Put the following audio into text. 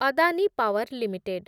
Adani Power limited